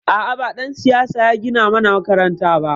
A'a, ba ɗan siyasa ya gina mana makaranta ba.